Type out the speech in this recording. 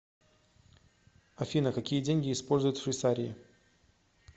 афина какие деньги используют в швейцарии